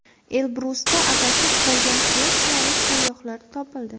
Elbrusda adashib qolgan shvetsiyalik sayyohlar topildi.